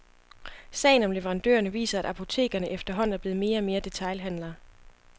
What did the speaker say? Sagen om leverandørerne viser, at apotekerne efterhånden er blevet mere og mere detailhandlere.